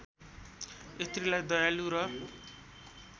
स्त्रीलाई दयालु र